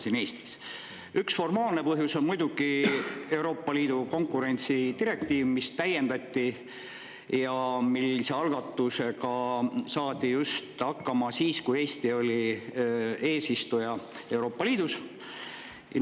Selle üks formaalne põhjus on muidugi Euroopa Liidu konkurentsidirektiiv, mida täiendati, kusjuures selle algatusega saadi hakkama just siis, kui Eesti oli Euroopa Liidu eesistuja.